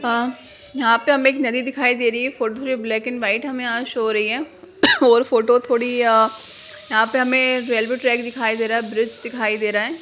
अ यहाँ पे हमे एक नदी दिखाई दे रही है फोटो थोड़ी ब्लैक एंड वाइट हमे यहाँ शो हो रही है और फोटो थोड़ी अ यहाँ पे हमे रेलवे ट्रैक दिखाई दे रहा है ब्रिज दिखाई दे रहा है।